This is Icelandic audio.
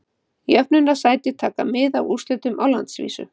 Jöfnunarsæti taka mið af úrslitum á landsvísu.